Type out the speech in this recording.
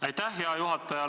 Aitäh, hea juhataja!